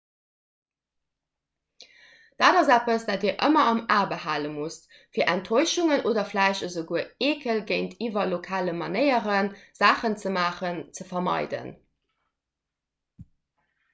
dat ass eppes dat dir ëmmer am a behale musst fir enttäuschungen oder vläicht esouguer eekel géintiwwer lokale manéieren saachen ze maachen ze vermeiden